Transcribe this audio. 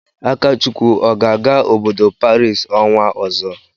Akachukwu ọ ga-aga obodo Paris ọnwa ọzọ?